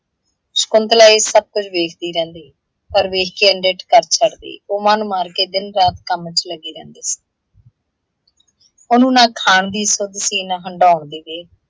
ਸ਼ਕੁੰਤਲਾ ਇਹ ਸਭ ਕੁੱਝ ਵੇਖਦੀ ਰਹਿੰਦੀ, ਪਰ ਵੇਖ ਕੇ ਅਣਡਿੱਠ ਕਰ ਛੱਡਦੀ। ਉਹ ਮੰਨ ਮਾਰਕੇ ਦਿਨ - ਰਾਤ ਕੰਮ ਚ ਲੱਗੀ ਰਹਿੰਦੀ। ਉਹਨੂੰ ਨਾ ਖਾਣ ਦੀ ਸੁੱਧ ਸੀ ਨਾ ਹੰਡਾਉਣ ਦੀ ਵਿਹਲ,